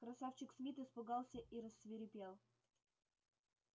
красавчик смит испугался и рассвирепел